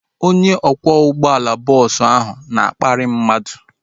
Onye ọkwọ ụgbọala bọọsu ahu na-akparị mmadụ